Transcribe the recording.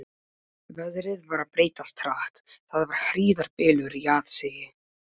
Veðrið var að breytast hratt, það var hríðarbylur í aðsigi.